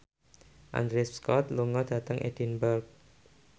Andrew Scott lunga dhateng Edinburgh